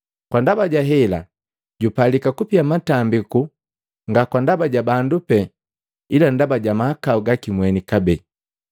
Kwa ndaba ja hela jupalika kupia matambiku nga kwa ndaba ja bandu pee, ila ndaba ja mahakau gaki mweni kabee.